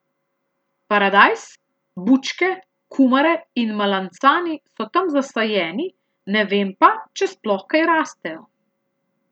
Paradajz, bučke, kumare in malancani so tam zasajeni, ne vem pa, če sploh kaj rastejo.